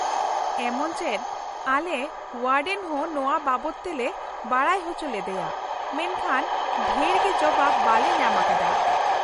ᱮᱢᱚᱱ ᱪᱮᱫ ᱟᱞᱮ ᱳᱭᱟᱰᱮᱱ ᱦᱚᱸ ᱱᱚᱶᱟ ᱵᱟᱵᱚᱛ ᱛᱮᱞᱮ ᱵᱟᱰᱟᱭ ᱚᱪᱚ ᱞᱮᱫᱮᱭᱟ ᱢᱮᱱᱠᱷᱟᱱ ᱰᱷᱮᱨᱜᱮ ᱡᱚᱵᱟᱵ ᱵᱟᱞᱮ ᱧᱟᱢ ᱟᱠᱟᱫᱟ ᱾